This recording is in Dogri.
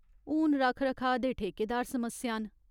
हून रक्ख रखाऽ दे ठेकेदार समस्या न।